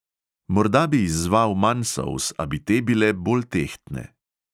Morda bi izzval manj solz, a bi te bile bolj tehtne.